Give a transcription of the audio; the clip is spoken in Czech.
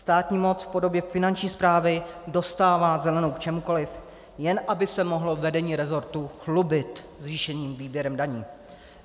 Státní moc v podobě Finanční správy dostává zelenou v čemkoliv, jen aby se mohlo vedení resortu chlubit zvýšeným výběrem daní.